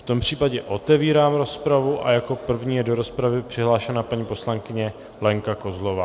V tom případě otevírám rozpravu a jako první je do rozpravy přihlášena paní poslankyně Lenka Kozlová.